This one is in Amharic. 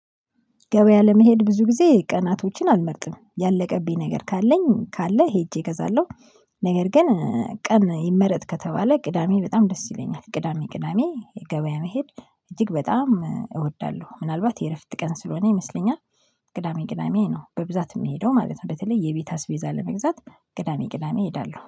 ገበያ ለመሄድ ብዙ ጊዜ ቀናቶችን አልመርጥም ያለቀብኝ ነገር ካለኝ ካለ ሄጄ እገዛለሁ። ነገር ግን ቀን ይመረጥ ከተባለ ቅዳሜ በጣም ደስ ይለኛል ቅዳሜ ቅዳሜ የገበያ መሄድ እጅግ በጣም እወዳለሁ ምናልባት የእረፍት ቀን ስለሆነ ይመስለኛል። ቅዳሜ ቅዳሜ ነው በብዛት የምሄደው ማለት ነው። በተለይ የቤት አስቤዛ ለመግዛት ቅዳሜ ቅዳሜ እሄዳለሁ